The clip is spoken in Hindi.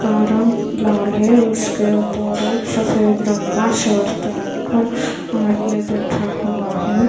का रंग लाल है उसके ऊपर एक सफेद रंग का शर्ट पहनकर हाथ में बैठा हुआ है।